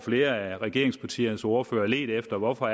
flere af regeringspartiernes ordførere ledt efter hvorfor